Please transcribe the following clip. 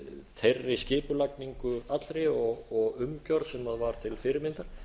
þeirri skipulagningu allri og umgjörð sem var til fyrirmyndar